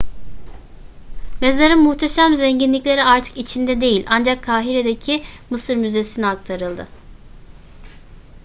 mezarın muhteşem zenginlikleri artık içinde değil ancak kahire'deki mısır müzesi'ne aktarıldı